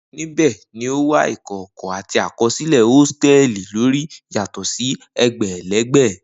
Nibẹ ni o wa ikọkọ ati àkọsílẹ hostels lori yatọ si egbelegbe